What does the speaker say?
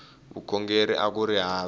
vukhongeri akuri hava